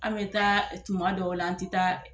An bɛ taa tuma dɔw la an tɛ taa